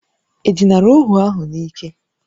E dinara ohu ahụ n'ike?